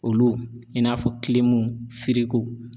Olu i n'a fɔ